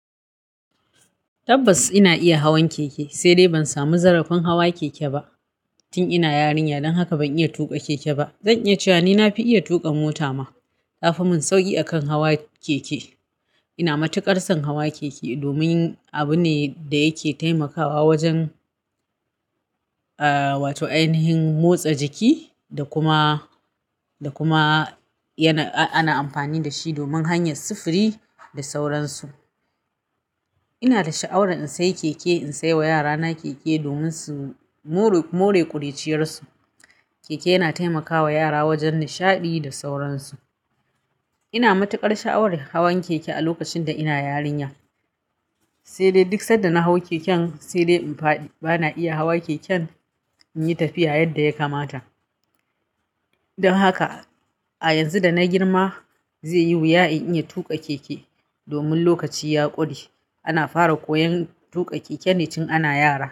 Tabbas ina iya hawan keke, sai dai ban samu zarafin hawa keke ba tun ina yarinya. Don haka ban iya tuƙa keke ba. Zan iya cewa ni na fi iya tuƙa mota ma. Ta fi min sauƙi akan hawa keke. Ina matuƙar son hawa keke domin abu ne da yake taimakawa wajen, aa wato ainihin motsa jiki, da kuma, da kuma yana-- ana amfani da shi domin hanyar sufuri da sauransu. Ina da sha'awar in sayi keke, in sai wa yarana keke domin su more ƙuruciyarsu. Keke yana taimakawa yara wajen nishaɗi da sauransu. Ina matuƙar sha'awar hawan keke a lokacin da ina yarinya. Sai dai duk sanda na hau keken, sai dai ban iya hawa keken in yi tafiya yadda ya kamata. Don haka a yanzu da na girma zai yi wuya in iya tuƙa keke domin lokaci ya ƙure. Ana fara koyon tuƙa keke ne tun ana yara.